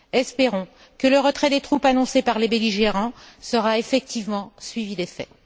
Espérons que le retrait des troupes annoncé par les belligérants sera effectivement suivi d'effet.